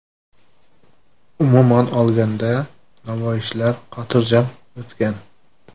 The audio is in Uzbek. Umuman olganda, namoyishlar xotirjam o‘tgan.